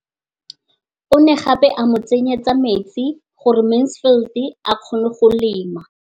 O ne gape a mo tsenyetsa metsi gore Mansfield a kgone go lema.